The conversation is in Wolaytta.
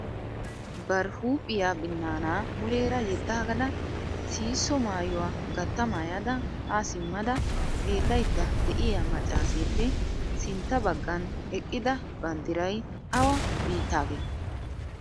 Bari huuphiya binnaana muleera yedaagada, siisso maayuwa gatta maayada ha simmada xeelaydda de'iyaa maccaseppe sintta baggan eqqida banddiray awa biittaagee?